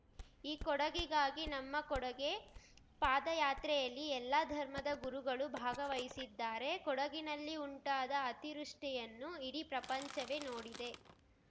ಈ ಕೊಡಗಿಗಾಗಿ ನಮ್ಮ ಕೊಡುಗೆ ಪಾದಯಾತ್ರೆಯಲ್ಲಿ ಎಲ್ಲ ಧರ್ಮದ ಗುರುಗಳು ಭಾಗವಹಿಸಿದ್ದಾರೆ ಕೊಡಗಿನಲ್ಲಿ ಉಂಟಾದ ಅತಿವೃಷ್ಟಿಯನ್ನು ಇಡೀ ಪ್ರಪಂಚವೇ ನೋಡಿದೆ